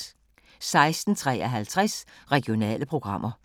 16:53: Regionale programmer